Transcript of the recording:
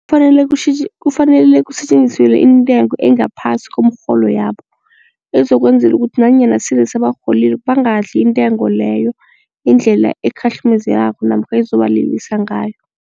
Kufanele kufanele kusetjenziselwe intengo engaphasi komrholo yabo ezokwenzela ukuthi nanyana sele sebarholile bangadli intengo leyo indlela ekhahlumezekayo namkha ezobalilisa ngayo.